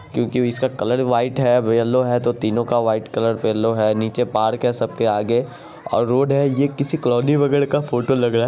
क्यूंकी इसका colour white है येलो है तो तीनों का व्हाइट कलर येलो है नीचे पार्क है सबके आगे और रोड है यह किसी कॉलोनी वगैरा का फ़ोटो लग रहा --